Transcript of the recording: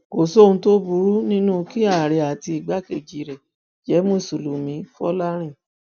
kò sóhun tó burú nínú kí àárẹ àti igbákejì rẹ jẹ mùsùlùmí fọlárin